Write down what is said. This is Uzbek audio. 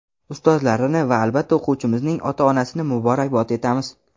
ustozlarini va albatta o‘quvchimizning ota-onasini muborakbod etamiz.